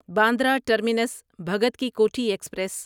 Bandra terminus Bhagat Ki Kothi express